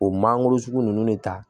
O mangoro sugu ninnu ne ta